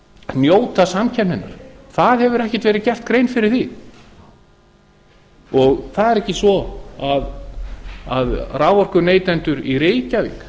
njóta samkeppninnar það hefur ekki verið gerð grein fyrir því það er ekki svo að raforkuneytendur í reykjavík